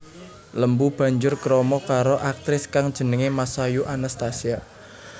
Lembu banjur krama karo aktris kang jenengé Masayu Anastasia